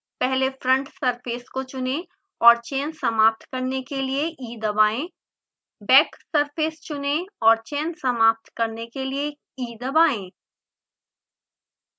पहले front surface को चुनें और चयन समाप्त करने के लिए e दबाएँ बैक सर्फेस चुनें और चयन समाप्त करने के लिए e दबाएँ